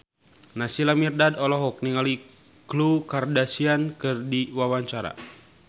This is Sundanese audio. Naysila Mirdad olohok ningali Khloe Kardashian keur diwawancara